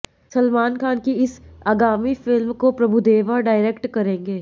सलमान खान की इस आगामी फिल्म को प्रभुदेवा डायरेक्ट करेंगे